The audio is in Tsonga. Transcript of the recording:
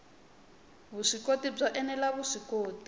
vuswikoti byo ene la vuswikoti